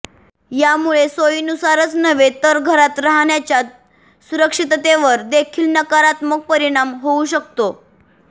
यामुळे सोयीनुसारच नव्हे तर घरात राहण्याच्या सुरक्षिततेवर देखील नकारात्मक परिणाम होऊ शकतो